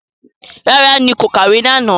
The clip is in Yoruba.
No, I did not read last night